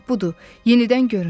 Ancaq budur, yenidən göründü.